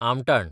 आमटान